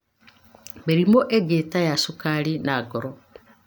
Mĩrimũ mĩingĩ ta ya cukari na ya ngoro